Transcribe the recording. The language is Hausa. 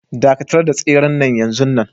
Dakatar da tseren nan yanzun nan